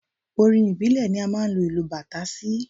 Orin ìbílẹ̀ ni a máa ń lu ìlù bàtà sí.